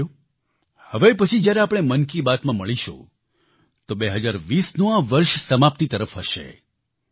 સાથીઓ હવે પછી જ્યારે આપણે મન કી બાતમાં મળીશું તો 2020નું આ વર્ષ સમાપ્તિ તરફ હશે